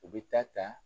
U bɛ taa ta